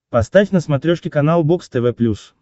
поставь на смотрешке канал бокс тв плюс